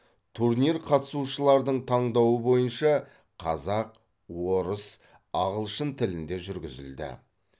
турнир қатысушылардың таңдауы бойынша қазақ орыс ағылшын тілінде жүргізілді